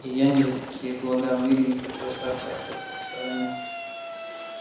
и я ни за какие блага в мире не хочу остаться от этого в стороне